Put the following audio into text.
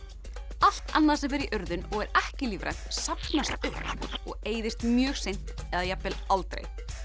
allt annað sem fer í urðun og er ekki lífrænt safnast upp og eyðist mjög seint eða jafnvel aldrei